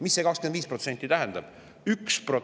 Mis see 25% tähendab?